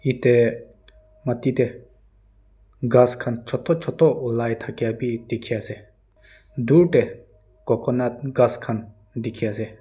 ete maati te gass khan chota chota ulai thak abhi dekhi ase dur te coconut gass khan dekhi ase.